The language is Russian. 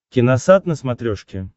киносат на смотрешке